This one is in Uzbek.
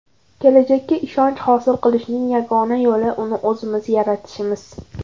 Kelajakka ishonch hosil qilishning yagona yo‘li uni o‘zimiz yaratishimiz.